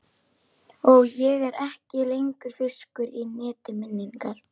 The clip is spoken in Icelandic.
Og ég er ekki lengur fiskur í neti minninganna.